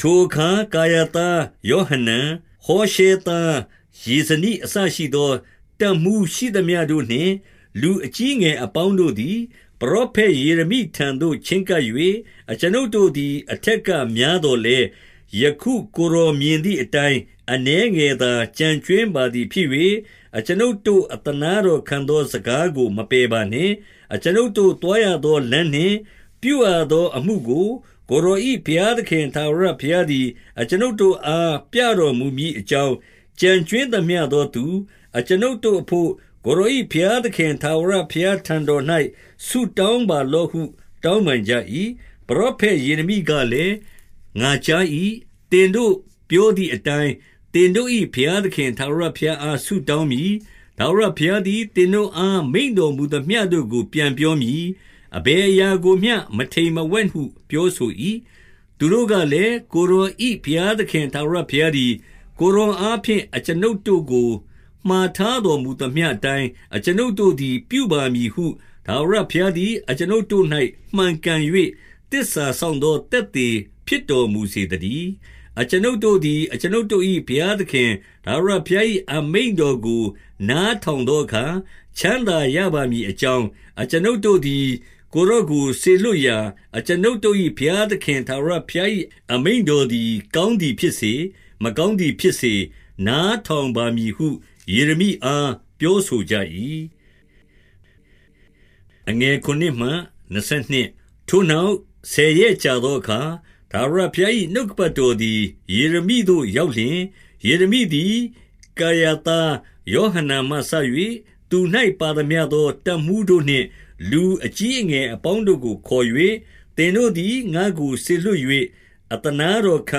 ထိုအခါကာရာသား ယောဟနန်၊ ဟောရှဲသား ယေဇနိ အစရှိသော တပ်မှူးရှိသမျှတို့နှင့်လူအကြီး အငယ်အပေါင်းတို့သည် ပရောဖက် ယေရမိထံသို့ ချဉ်းကပ်၍၊ 2 အကျွန်ုပ်တို့သည်အထက်ကများသော်လည်း၊ 3 ယခုကိုယ်တော်မြင်သည်အတိုင်း အနည်းငယ် သော ကျန်ကြွင်းပါသည်ဖြစ်၍၊ အကျွန်ုပ်တို့ အသနား တော်ခံသော စကားကို မပယ်ပါနှင့်။ အကျွန်ုပ်တို့ သွားရသော လမ်းနှင့်ပြုရသော အမှုကိုကိုယ်တော်၏ ဘုရားသခင် ထာဝရဘုရားသည် အကျွန်ုပ်တို့အား ပြတော် မူမည်အကြောင်း၊ ကျန်ကြွင်းသမျှသောသူ၊ အကျွန်ုပ်တို့ အဘို့ ကိုယ်တော်၏ဘုရားသခင် ထာဝရဘုရားထံတော်၌ ဆုတောင်းပါလော့ဟု တောင်းပန်ကြ၏။ 4 ပရောဖက် ယေရမိကလည်း၊ ငါကြား၏ သင်တို့ပြောသည်အတိုင်း၊ သင်တို့၏ ဘုရားသခင် ထာဝရဘုရားအား ဆုတောင်း မည်။ ထာဝရဘုရားသည် သင်တို့အား မိန့်တော်မူသမျှ တို့ကို ပြန်ပြောမည်။ အဘယ်အရာကိုမျှ မထိမ်မဝှက်ဟု ပြောဆို၏။ 5 သူတို့ကလည်း၊ ကိုယ်တော်၏ ဘုရားသခင် ထာဝရဘုရားသည် ကိုယ်တော်အားဖြင့် အကျွန်ုပ်တို့ကို မှာထားတော်မူသမျှအတိုင်း၊ အကျွန်ုပ်တို့သည် ပြုပါမည်ဟု၊ ထာဝရ ဘုရားသည်အကျွန်ုပ်တို့၌ မှန်ကန်၍ သစ္စာစောင့် သော သက်သေဖြစ်တော်မူစေသတည်း။ 6 အကျွန်ုပ်တို့သည် အကျွန်ုပ်တို့၏ ဘုရားသခင် ထာဝရဘုရား၏ အမိန့်တော်ကို နားထောင်သောအခါ ချမ်းသာရပါမည်အကြောင်း၊ အကျွန်ုပ်တို့သည်။ ကိုယ်တော်ကိုစေလွှတ်ရာ အကျွန်ုပ်တို့၏ ဘုရားသခင် ထာဝရဘုရား၏ အမိန့်တော်သည်ကောင်းသည်ဖြစ်စေ၊ မကောင်းသည်ဖြစ်စေ၊ နားထောင်ပါမည်ဟု ယေရမိအား ပြောဆိုကြ၏။ 7 ထိုနောက် ဆယ်ရက်ကြာသောအခါ၊ ထာဝရ ဘုရား၏ နှုတ်ကပတ်တော်သည် ယေရမိသို့ရောက်လျှင်၊ 8 ယေရမိသည် ကာရာသား ယောဟနန်မှစ၍၊ သူ၌ပါသမျှသော တပ်မှူးတို့နှင့် လူအကြီး၊ အငယ် အပေါင်းတို့ကိုခေါ်၍၊ 9 သင်တို့သည် ငါ့ကိုစေလွှတ်၍ အသနားတော် ခံ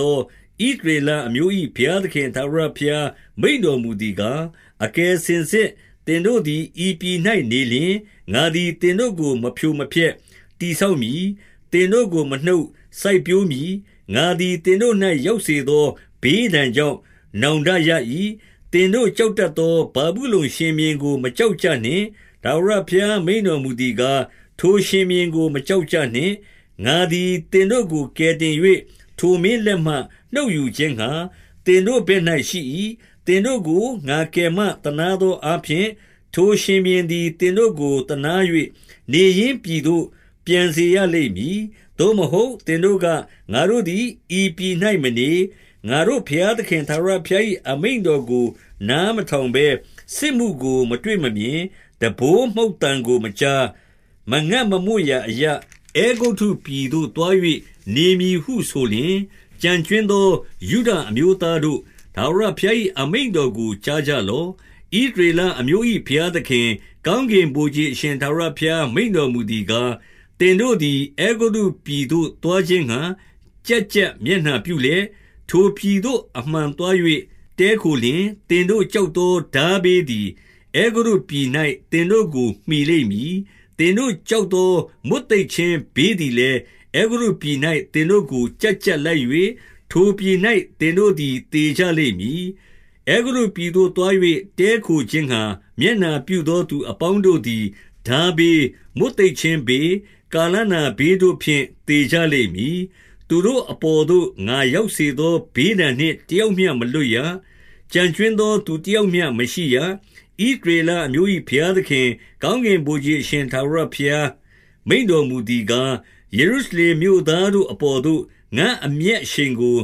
သော ဣသရေလအမျိုး၏ဘုရားသခင်ထာဝရဘုရား မိန့်တော်မူသည်ကား၊ 10 အကယ်စင်စစ်သင်တို့သည် ဤပြည်၌နေလျှင်၊ ငါသည်သင်တို့ကို မဖြိုမဖျက်၊ တည်ဆောက်မည်။ သင် တို့ကိုမနှုတ်၊ စိုက်ပျိုးမည်။ ငါသည် သင်တို့၌ ရောက်စေ သော ဘေးဒဏ်ကြောင့် နောင်တရ၏။ 11 သင်တို့ကြောက်တတ်သော ဗာဗုလုန်ရှင်ဘုရင် ကို မကြောက်ကြနှင့်။ ထာဝရဘုရား မိန့်တော်မူသည် ကား၊ ထိုရှင်ဘုရင်ကို မကြောက်ကြနှင့်။ ငါသည် သင်တို့ကို ကယ်တင်၍၊ ထိုမင်းလက်မှနှုတ်ယူခြင်းငှါ သင်တို့ဘက်၌ ရှိ၏။ 12 သင်တို့ကို ငါကယ်မသနားသောအားဖြင့်၊ ထိုရှင်ဘုရင်သည် သင်တို့ကို သနား၍၊ နေရင်းပြည်သို့ ပြန်စေရလိမ့်မည်။ 13 သို့မဟုတ်၊ သင်တို့က၊ငါတို့သည်ဤပြည်၌မနေ၊ ငါတို့ဘုရား သခင်ထာဝရဘုရား၏ အမိန့်တော်ကို နားမထောင်ဘဲ၊ 14 စစ်မှုကိုမတွေ့မမြင်၊ တံပိုးမှုတ်သံကို မကြား၊ မငတ်မမွတ်ရာအရပ်၊ အဲဂုတ္တုပြည်သို့သွား၍ နေမည်ဟု ဆိုလျှင်၊ 15 ကျန်ကြွင်းသော ယုဒအမျိုးသားတို့၊ ထာဝရ ဘုရား၏အမိန့်တော်ကို ကြားကြလော့။ ဣသရေလ အမျိုး၏ ဘုရားသခင်၊ ကောင်းကင်ဗိုလ်ခြေအရှင် ထာဝရ ဘုရားမိန့်တော်မူသည်ကား၊ သင်တို့သည် အဲဂုတ္တုပြည်သို့ သွားခြင်းငှါ ကျပ်ကျပ်မျက်နှာပြုလျက်၊ ထိုပြည်သို့အမှန်သွား၍ တည်းခိုလျှင်၊ 16 သင်တို့ကြောက်သော ထားဘေးသည် အဲဂုတ္တု ပြည်၌ သင်တို့ကို မှီလိမ့်မည်။ သင်တို့ကြောက်သော မွတ်သိပ်ခြင်းဘေးသည်လည်း၊ အဲဂုတ္တုပြည်၌ သင်တို့ကို ကျပ်ကျပ်လိုက်၍၊ ထိုပြည်၌သင်တို့သည် သေကြလိမ့် မည်။ 17 အဲဂုတ္တုပြည်သို့သွား၍ တည်းခိုခြင်းငှါ မျက်နှာ ပြုသောသူအပေါင်းတို့သည် ထားဘေး၊ မွတ်သိပ်ခြင်း ဘေး၊ ကာလနာဘေးတို့ဖြင့် သေကြလိမ့်မည်။ သူတို့ အပေါ်သို့ငါရောက်စေသောဘေးဒဏ်နှင့် တယောက်မျှ မလွတ်ရ။ ကျန်ကြွင်းသောသူ တယောက်မျှမရှိရ။ 18 ဣသရေလအမျိုး၏ ဘုရားသခင်၊ ကောင်းကင် ဗိုလ်ခြေအရှင် ထာဝရဘုရားမိန့်တော်မူသည်ကား၊ ယေရု ရှလင်မြို့သားတို့အပေါ်သို့ ငါ့အမျက်အရှိန်ကို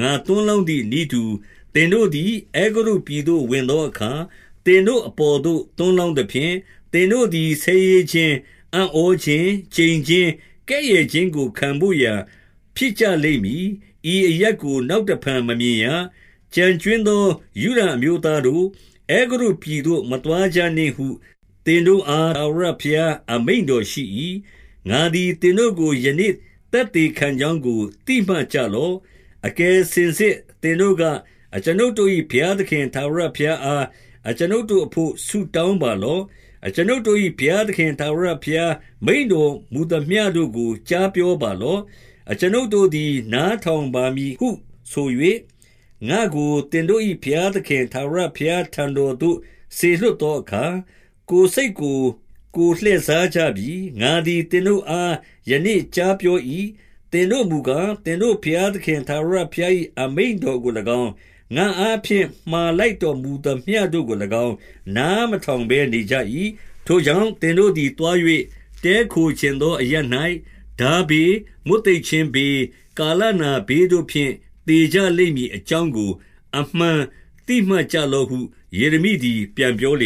ငါသွန်း လောင်းသည်နည်းတူ၊ သင်တို့သည် အဲဂုတ္တုပြည်သို့ ဝင်သောအခါ၊ သင်တို့အပေါ်သို့ သွန်းလောင်းသဖြင့်၊ သင်တို့သည် ဆဲရေးခြင်း၊ အံ့ဩခြင်း၊ ကျိန်ခြင်း၊ ကဲ့ရဲ့ ခြင်းကိုခံဘို့ရာ ဖြစ်ကြလိမ့်မည်။ ဤအရပ်ကို နောက် တဖန်မမြင်ရ။ 19 ကျန်ကြွင်းသောယုဒအမျိုးသားတို့၊ အဲဂုတ္တု ပြည်သို့ မသွားကြနှင့်ဟု သင်တို့အား ထာဝရဘုရား အမိန့်တော်ရှိ၏။ ငါသည်သင်တို့ကို ယနေ့သက်သေ ခံကြောင်းကို သိမှတ်ကြလော့။ 20 အကယ်စင်စစ်သင်တို့က၊ အကျွန်ုပ်တို့၏ ဘုရားသခင်ထာဝရဘုရားအား အကျွန်ုပ်တို့အဘို့ ဆုတောင်းပါလော့။ အကျွန်ုပ်တို့၏ ဘုရားသခင်ထာဝရဘုရား မိန့်တော်မူသမျှတို့ကို ကြားပြောပါလော့။ အကျွန်ုပ်တို့သည် နားထောင်ပါ မည်ဟုဆို၍၊ ငါ့ကိုသင်တို့၏ ဘုရားသခင် ထာဝရဘုရားထံတော်သို့ စေလွှတ်သောအခါ၊ ကိုယ်စိတ်ကိုကိုယ် လှည့်စားကြပြီ။ 21 ငါသည်သင်တို့အား ယနေ့ကြားပြော၏။ သင်တို့ မူကား၊ သင်တို့ ဘုရားသခင်ထာဝရဘုရား၏ အမိန့်တော် ကို၎င်း၊ ငါ့အားဖြင့် မှာလိုက်တော်မူသမျှတို့ကို၎င်း၊ နားမထောင်ဘဲနေကြ၏။ 22 ထိုကြောင့် သင်တို့သည် သွား၍ တည်းခိုချင် သော အရပ်၌ ထားဘေး၊ မွတ်သိပ်ခြင်းဘေး၊ ကာလနာ ဘေးတို့ဖြင့် သေကြလိမ့်မည်အကြောင်းကို အမှန်သိမှတ် ကြလော့ဟု ယေရမိသည် ပြန်ပြောလေ